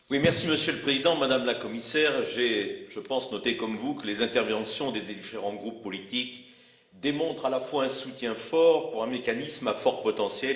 Monsieur le Président, Madame la Commissaire, je pense noter, comme vous, que les interventions des différents groupes politiques démontrent un soutien fort pour un mécanisme à fort potentiel.